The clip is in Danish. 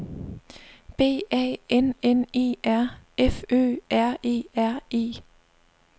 B A N N E R F Ø R E R E